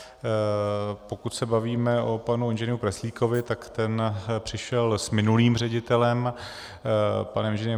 Pokud se bavíme o panu Ing. Preclíkovi, tak ten přišel s minulým ředitelem panem Ing.